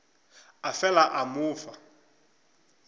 a fela a mo fa